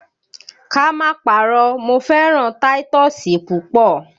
Ká má parọ́ mo fẹ́ràn táítọ́ọ́sì púpọ̀.